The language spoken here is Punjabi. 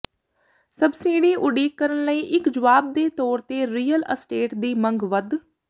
ਸਬਸਿਡੀ ਉਡੀਕ ਕਰਨ ਲਈ ਇੱਕ ਜਵਾਬ ਦੇ ਤੌਰ ਤੇ ਰੀਅਲ ਅਸਟੇਟ ਦੀ ਮੰਗ ਵਧ